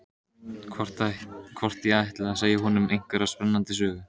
Hvort ég ætli að segja honum einhverja spennandi sögu.